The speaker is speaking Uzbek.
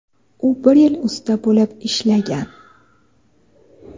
u bir yil usta bo‘lib ishlagan.